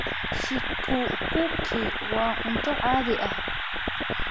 Chikukuki waa cunto caadi ah.